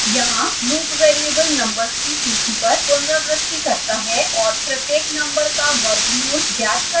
यहाँ loop variable numbers की सूची पर पुनरावृति करता है और प्रत्येक नम्बर का वर्गमूल ज्ञात करता है